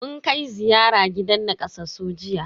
Mun kai ziyara gidan nakasassu jiya.